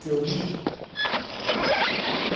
Que eu li?